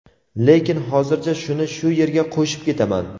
lekin hozircha shuni shu yerga qo‘shib ketaman:.